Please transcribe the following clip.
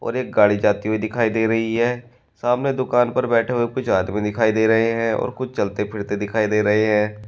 और एक गाड़ी जाती हुई दिखाई दे रही है सामने दुकान पर बैठे हुए कुछ आदमी दिखाई दे रहे हैं और कुछ चलते फिरते दिखाई दे रहे हैं।